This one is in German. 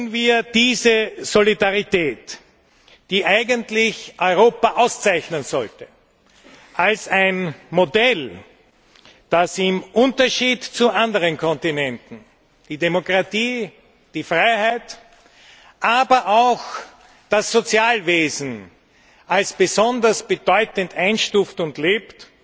Wir müssen diese Solidarität, die eigentlich Europa auszeichnen sollte, als ein Modell begreifen, das im Unterschied zu anderen Kontinenten die Demokratie, die Freiheit, aber auch das Sozialwesen als besonders bedeutend einstuft und lebt.